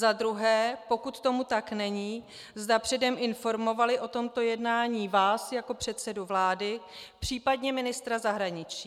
Za druhé, pokud tomu tak není, zda předem informovali o tomto jednání vás jako předsedu vlády, případně ministra zahraničí.